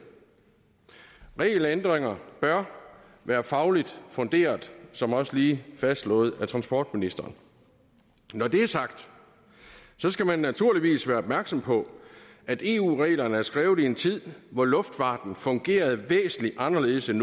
regelændringer bør være fagligt funderet som også lige fastslået af transportministeren når det er sagt skal man naturligvis være opmærksom på at eu reglerne er skrevet i en tid hvor luftfarten fungerede væsentlig anderledes end